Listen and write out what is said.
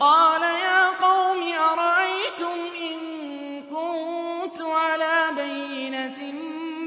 قَالَ يَا قَوْمِ أَرَأَيْتُمْ إِن كُنتُ عَلَىٰ بَيِّنَةٍ